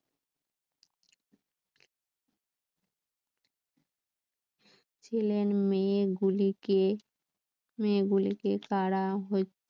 ছেলের মেয়ে গুলিকে মেয়েগুলিকে মেয়েগুলিকে তারা